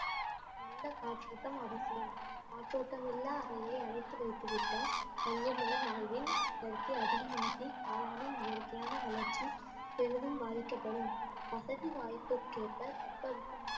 நல்ல காற்றோட்டம் அவசியம் காற்றோட்டம் இல்லா அறையை அடைத்து வைத்து விட்டால் கரியமில வாய்வின் அடர்த்தி அதிகமாகி காளானின் இயற்கையான வளர்ச்சி பெரிதும் பாதிக்கப்படும் வசதி வாய்ப்புக்கேற்ப தட்ப வெப்பநிலை